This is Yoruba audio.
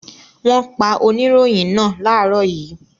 Wọ́n pa oníròyìn náà láàárọ̀ yìí.